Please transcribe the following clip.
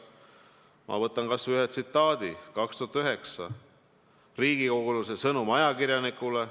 Ma võtan ühe tsitaadi aastast 2009, see on riigikogulase sõnum ajakirjanikule.